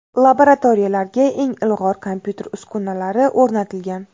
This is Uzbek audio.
Laboratoriyalarga eng ilg‘or kompyuter uskunalari o‘rnatilgan.